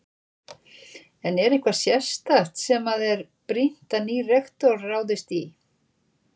En er eitthvað sérstakt sem að er brýnt að nýr rektor ráðist í?